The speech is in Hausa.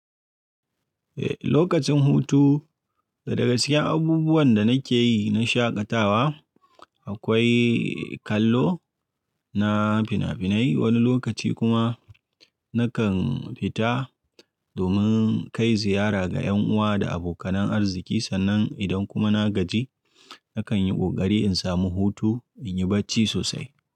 Eh, lokacin hutu daga cikin abubuwan da nake yi na shaƙatawa akwai kallo na fina-finai, wani lokaci kuma nakan fita domin kai ziyara ga ƴan uwa da abokanan arziki. Sannan idan kuma na gaji, nakan yi ƙoƙari in samu hutu in yi bacci sosai.